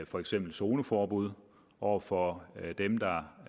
for eksempel zoneforbud over for dem der